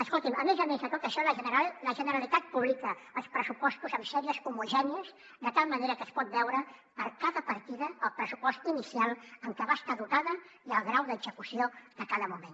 escolti’m a més a més de tot això la generalitat publica els pressupostos en sèries homogènies de tal manera que es pot veure per a cada partida el pressupost inicial amb què va estar dotada i el grau d’execució de cada moment